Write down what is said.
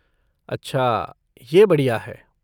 अच्छा, यह बढ़िया है।